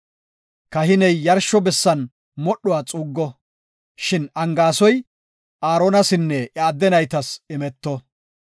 Kahiney yarsho bessan modhuwa xuuggo; shin angaasoy Aaronasinne iya adde naytas imeto.